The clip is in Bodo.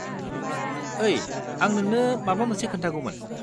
ओइ, आं नोंनो माबा मोनसे खोन्थागौमोन।